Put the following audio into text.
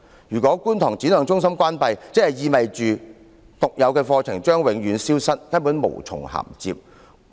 如果觀塘展亮中心關閉，就意味着其獨有的課程將會永遠消失，根本無從銜接。